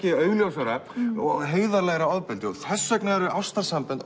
augljósara og heiðarlegra ofbeldi þess vegna eru ástarsambönd